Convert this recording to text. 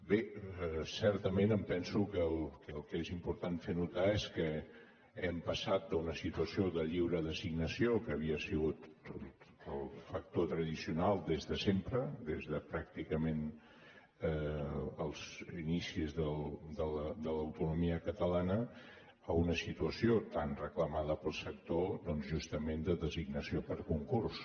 bé certament em penso que el que és important fer notar és que hem passat d’una situació de lliure designació que havia sigut el factor tradicional des de sempre des de pràcticament els inicis de l’autonomia catalana a una situació tan reclamada pel sector doncs justament de designació per concurs